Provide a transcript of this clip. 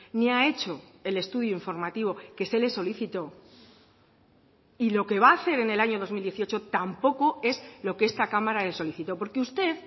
ni ha hecho el estudio informativo que se le solicitó y lo que va a hacer en el año dos mil dieciocho tampoco es lo que esta cámara le solicitó porque usted